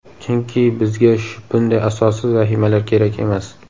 Chunki bizga bunday asossiz vahimalar kerak emas.